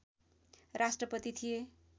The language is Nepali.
राष्ट्रपति थिए